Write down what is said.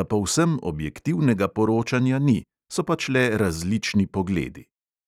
da povsem objektivnega poročanja ni, so pač le različni pogledi.